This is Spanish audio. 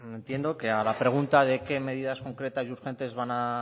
bueno entiendo que a la pregunta de qué medidas concretas y urgentes van a